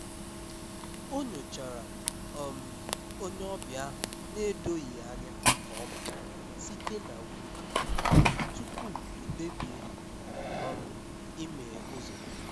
Ọ̀ nyochàrà um onye ọbịa ahụ n’edoghị ya anya nke ọma site na windo ya, tupu ọ kpebìe um ịmeghe ụ́zọ́.